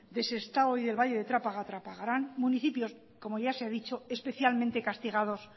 del sestao y del valle de trápaga trapagaran municipios como ya se ha dicho especialmente castigados